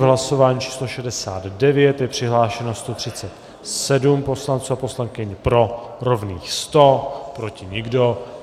V hlasování číslo 69 je přihlášeno 137 poslankyň a poslanců, pro rovných 100, proti nikdo.